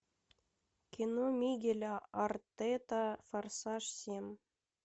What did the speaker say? кино мигеля артета форсаж семь